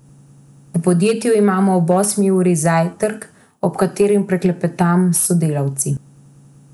V podjetju imamo ob osmi uri zajtrk, ob katerem poklepetam s sodelavci.